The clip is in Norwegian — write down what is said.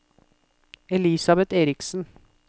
Elisabeth Eriksen